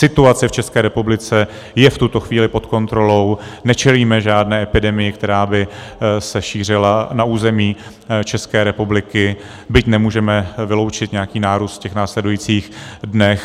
Situace v České republice je v tuto chvíli pod kontrolou, nečelíme žádné epidemii, která by se šířila na území České republiky, byť nemůžeme vyloučit nějaký nárůst v následujících dnech.